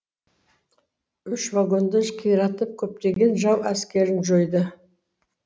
үш вагонды қиратып көптеген жау әскерін жойды